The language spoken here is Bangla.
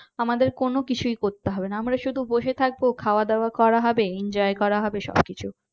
আমাদের কোন কিছুই করতে হবে না আমরা শুধু বসে থাকবো খাওয়া দাওয়া করা হবে enjoy করা হবে সবকিছু